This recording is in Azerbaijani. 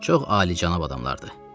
Çox alicənab adamlardır.